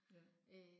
Ja